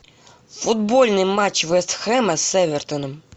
футбольный матч вест хэма с эвертоном